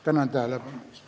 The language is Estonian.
Tänan tähelepanu eest!